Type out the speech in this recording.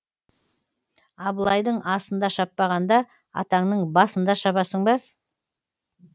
абылайдың асында шаппағанда атаңның басында шабасың ба